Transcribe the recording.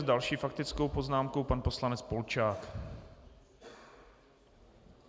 S další faktickou poznámkou pan poslanec Polčák.